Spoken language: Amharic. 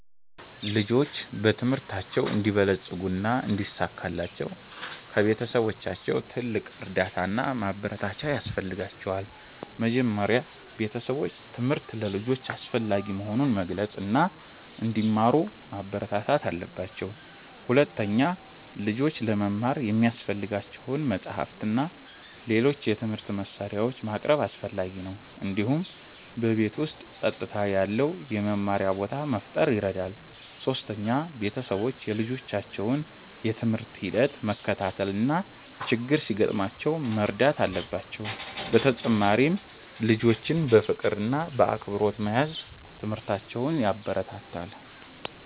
ልጆች በትምህርታቸው እንዲበለጽጉ እና እንዲሳካላቸው ከቤተሰቦቻቸው ትልቅ እርዳታ እና ማበረታቻ ያስፈልጋቸዋል። መጀመሪያ ቤተሰቦች ትምህርት ለልጆች አስፈላጊ መሆኑን መግለጽ እና እንዲማሩ ማበረታታት አለባቸው። ሁለተኛ፣ ልጆች ለመማር የሚያስፈልጋቸውን መጻሕፍት እና ሌሎች የትምህርት መሳሪያዎች ማቅረብ አስፈላጊ ነው። እንዲሁም በቤት ውስጥ ጸጥታ ያለው የመማሪያ ቦታ መፍጠር ይረዳል። ሶስተኛ፣ ቤተሰቦች የልጆቻቸውን የትምህርት ሂደት መከታተል እና ችግር ሲያጋጥማቸው መርዳት አለባቸው። በተጨማሪም ልጆችን በፍቅር እና በአክብሮት መያዝ ትምህርታቸውን ያበረታታል።